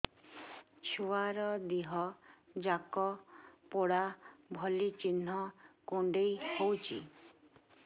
ଛୁଆର ଦିହ ଯାକ ପୋଡା ଭଳି ଚି଼ହ୍ନ କୁଣ୍ଡେଇ ହଉଛି